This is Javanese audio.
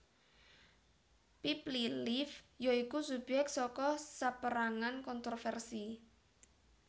Peepli Live ya iku subyek saka saperangan kontroversi